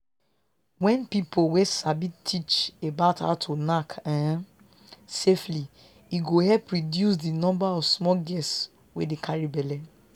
wen people wey sabi teach about how to knack um safely e go help reduce di number of small girls wey dey carry belle